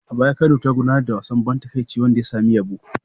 A baya Kano ta gudanar da wasan ban takaici wanda ya samu yabo.